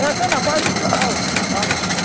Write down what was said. Era só na base do sinal, sabe?